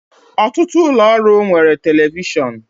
Ọtụtụ ụlọ ọrụ nwere telivishọn